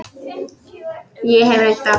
Ég hef reynt allt.